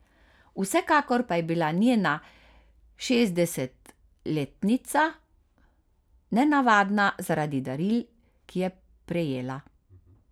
Vsekakor pa je bila njena šestdesetletnica nenavadna zaradi daril, ki je prejela.